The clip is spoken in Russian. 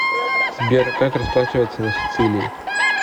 сбер как расплачиваться на сицилии